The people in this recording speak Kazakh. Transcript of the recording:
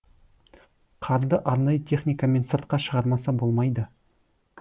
қарды арнайы техникамен сыртқа шығармаса болмайды